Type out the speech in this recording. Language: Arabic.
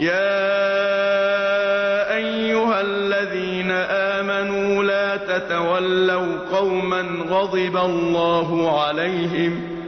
يَا أَيُّهَا الَّذِينَ آمَنُوا لَا تَتَوَلَّوْا قَوْمًا غَضِبَ اللَّهُ عَلَيْهِمْ